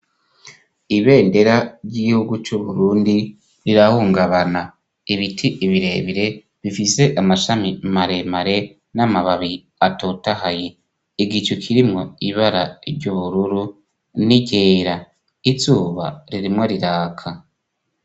Ibendera ry'ihugu c'u Burundi rirahungabana, ibiti birebire bifise amashami maremare n'amababi atotahaye, igicu kirimwo ibara ry'ubururu n'iryera, izuba ririmwo riraka.